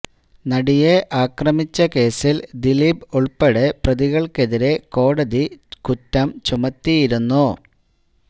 നടിയെ ആക്രമിച്ച കേസിൽ ദിലീപ് ഉൾപ്പെടെ പ്രതികൾക്കെതിരെ കോടതി കുറ്റം ചുമത്തിയിരുന്നു